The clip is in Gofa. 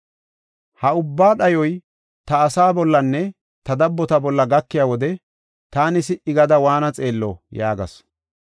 Ha ubba dhayoy ta asaa bollanne ta dabbota bolla gakiya wode taani si77i gada waanna xeello?” yaagasu.